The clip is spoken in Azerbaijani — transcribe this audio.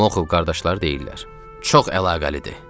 Muxov qardaşları deyirlər: Çox əlaqəlidir.